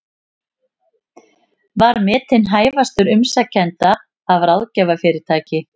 Var metinn hæfastur umsækjenda af ráðgjafarfyrirtæki